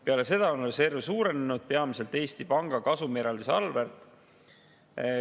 Peale seda on reserv suurenenud peamiselt Eesti Panga kasumieraldise arvelt.